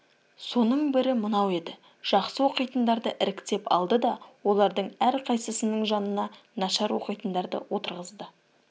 соның бірі мынау еді жақсы оқитындарды іріктеп алды да олардың әрқайсысының жанына нашар оқитындарды отырғызды